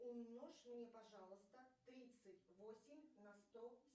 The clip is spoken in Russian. умножь мне пожалуйста тридцать восемь на сто